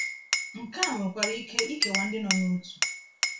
Nke a nwekwara ike ikewa ndị nọ n’otu.